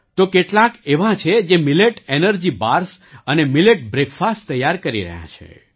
તો કેટલાંક એવાં છે જે મિલેટ એનર્જી બાર્સ અને મિલેટ બ્રૅકફાસ્ટ તૈયાર કરી રહ્યાં છે